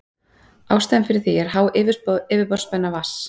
Ástæðan fyrir því er há yfirborðsspenna vatns.